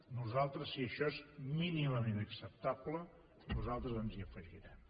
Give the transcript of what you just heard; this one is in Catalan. nosaltres si això és mínimament acceptable ens hi afegirem